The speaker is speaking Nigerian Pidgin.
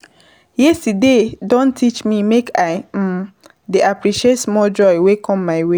Yesterday don teach me make I dey appreciate small joy wey come my way.